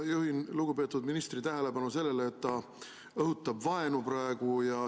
Ma juhin lugupeetud ministri tähelepanu sellele, et ta õhutab praegu vaenu.